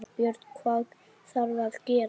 Björn: Hvað þarf að gera?